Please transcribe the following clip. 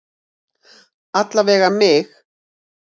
Alla vega mig.